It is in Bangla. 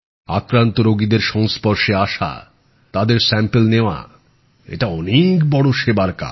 আক্রান্ত রোগীদের সংস্পর্শে আসা তাদের নমুনা নেওয়া এটা অনেক বড় সেবার কাজ